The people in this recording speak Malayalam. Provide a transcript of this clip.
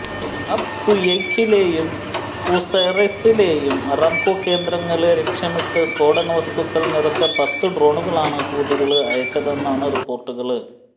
അബ്ഖുയൈഖിലെയും ഖുറൈസിലെയും ആരാംകോ കേന്ദ്രങ്ങളെ ലക്ഷ്യമിട്ട് സ്ഫോടകവസ്തുക്കള് നിറച്ച പത്തു ഡ്രോണുകളാണ് ഹൂതികള് അയച്ചതെന്നാണ് റിപ്പോര്ട്ടുകള്